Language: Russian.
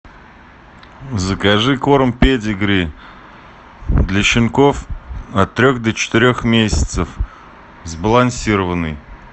закажи корм педигри для щенков от трех до четырех месяцев сбалансированный